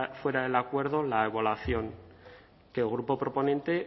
fuera del acuerdo la evaluación que el grupo proponente